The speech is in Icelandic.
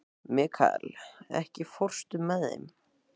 Mikkael, ekki fórstu með þeim?